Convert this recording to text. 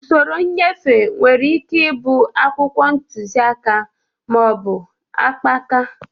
Usoro nnyefe nwere ike ịbụ akwụkwọ ntuziaka ma ọ bụ akpaka